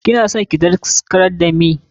Kina son ki daskarar da meh?